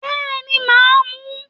Bẹ́ẹ̀ni màá mu